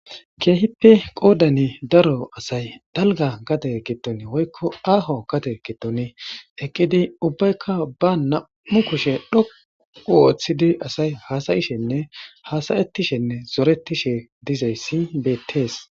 keehippe qoodani daro asay dalga gate getton woykko aaho gate getoni eqqidi ubbaykka ba nam7u kushe dhoqu wooththidi asay haasayishenne haasayetishenne zoretishe dizayssi beettees